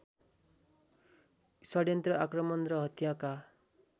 षड्यन्त्र आक्रमण र हत्याका